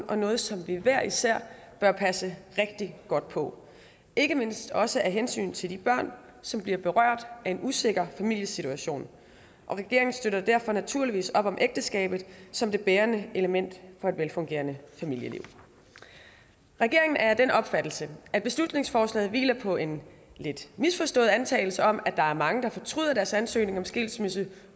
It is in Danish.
og noget som vi hver især bør passe rigtig godt på ikke mindst også af hensyn til de børn som bliver berørt af en usikker familiesituation og regeringen støtter derfor naturligvis op om ægteskabet som det bærende element for et velfungerende familieliv regeringen er af den opfattelse at beslutningsforslaget hviler på en lidt misforstået antagelse om at der er mange der fortryder deres ansøgning om skilsmisse